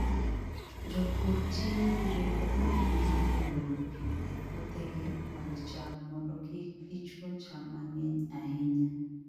Jopur tiyo gi rieko ahinya e olo pi e puothegi mag cham mondo kik gichuo cham mang'eny ahinya.